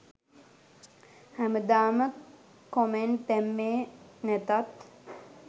හැමදාම කොමෙන්ට් දැම්මේ නැතත්